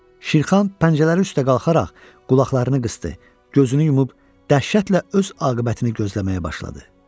Şirxan pəncələri üstə qalxaraq qulaqlarını qısdı, gözünü yumub dəhşətlə öz aqibətini gözləməyə başladı.